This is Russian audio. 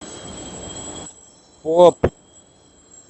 поп